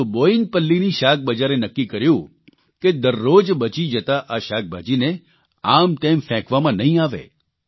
પરંતુ બોયિનપલ્લીની શાકબજારે નક્કી કર્યું કે દરરોજ બચી જતા આ શાકભાજીને આમતેમ ફેંકવામાં નહીં આવે